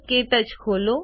ક્ટચ ખોલો